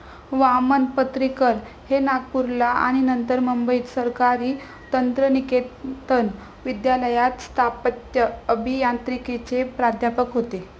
वामन पत्रीकर हे नागपूरला आणि नंतर मुंबईत सरकारी तंत्रनिकेतन विद्यालयात स्थापत्य अभियांत्रिकीचे प्राध्यापक होते.